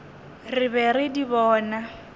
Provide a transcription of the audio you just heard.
re be re di bona